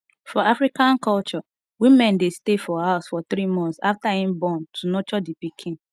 for afican culture woman de stay for house for three months after im born to nurture di pikin